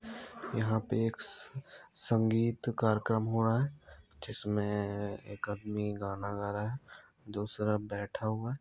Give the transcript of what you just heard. यहां पे एक स-संगीत कार्यक्रम हो रहा है जिसमे-ए एक आदमी गाना गा रहा है दूसरा बैठा हुआ है।